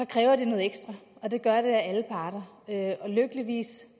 kræver det noget ekstra og det gør det af alle parter lykkeligvis